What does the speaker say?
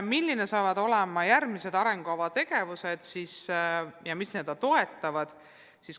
Millised saavad olema järgmised arengukava toetavad tegevused?